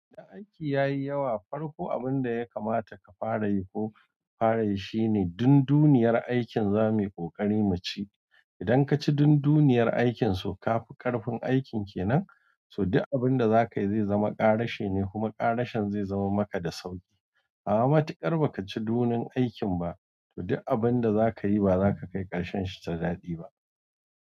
Da aiki yayi yawa farko abin da yakamata kafara yi shine dunduniyar aikin zamuyi ƙoƙari muci idan ka ci dun dunduniyar aikin, so ka fi ƙarfin aikin kenan, so duk abin da za ka yi zai zama ƙarashe ne, kuma ƙarashen zai zama maka da sauƙi. A'a, matiƙar ba ka ci dun duniyar aikin ba, to duk abin da za ka yi ba za ka kai ƙarshen shi da daɗi ba.